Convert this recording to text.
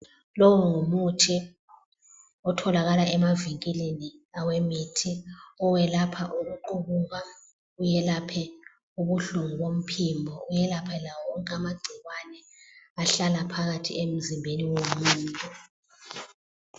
Lowu ngumuthi otholakala emavinkilini awemithi owelapha ukuqubuka, uyelaphe ubuhlungu bomphimbo, uyelaphe lawowonke amagcikwane ahlala phakathi emzimbeni womuntu.